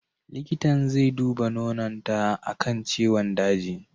Likitan zai duba nononta akan ciwon daji.